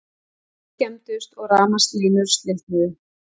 Hús skemmdust og rafmagnslínur slitnuðu